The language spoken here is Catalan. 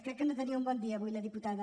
crec que no tenia un bon dia avui la diputada